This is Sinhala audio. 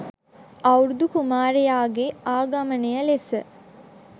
අවුරුදු කුමාරයාගේ ආගමනය ලෙස